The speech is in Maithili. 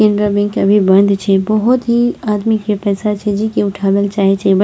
केनरा बैंक अभी बंद छे बहोत ही आदमी के पैसा छे जे की उठावल चाहे छे ब --